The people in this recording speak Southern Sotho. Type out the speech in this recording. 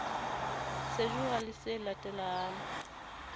sejura le le se latelang